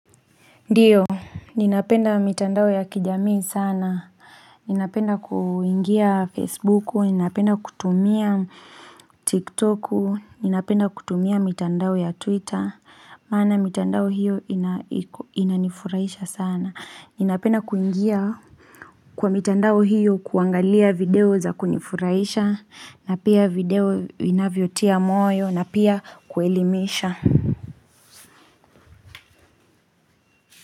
Ndiyo, ninapenda mitandao ya kijamii sana, ninapenda kuingia Facebook, ninapenda kutumia TikTok, ninapenda kutumia mitandao ya Twitter, maana mitandao hiyo inanifuraisha sana, ninapenda kuingia kwa mitandao hiyo kuangalia video za kunifuraisha, na pia video inavyotia moyo, na pia kuelimisha.